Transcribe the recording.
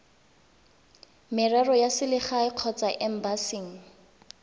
merero ya selegae kgotsa embasing